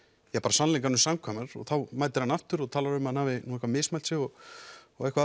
sannleikanum sannkvæmar og þá mætir hann aftur og talar um að hann hafi eitthvað mismælt sig og eitthvað